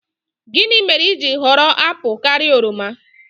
Gịnị mere i ji họrọ apụl karịa oroma?